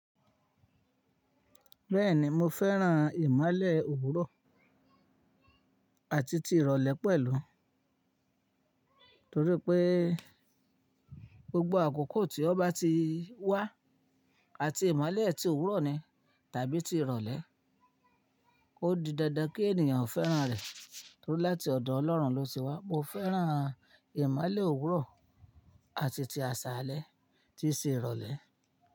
Bẹ́ẹ̀ni mo fẹ́ràn ìmọ́lẹ̀ òwúrọ̀ àti ti ìrọ̀lẹ́ pẹ̀lú, torí pé gbogbo àkókò tí ó bá ti wá àti ìmọ́lẹ̀ tí òwúrọ̀ ni tàbí ti ìrọ̀lẹ́, ó di dandan kí ènìyàn fẹ́ràn rẹ̀ torí láti ọ̀dọ̀ Ọlọ́run ló ti wá. Mo fẹ́ràn ìmọ́lẹ̀ òwúrọ̀ àti ti àṣálẹ́, tí i ṣe ìrọ̀lẹ́.